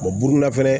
buru na fɛnɛ